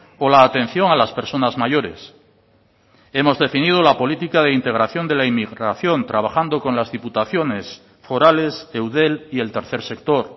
o la atención a las personas mayores hemos definido la política de integración de la inmigración trabajando con las diputaciones forales eudel y el tercer sector